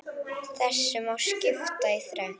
Þessu má skipta í þrennt.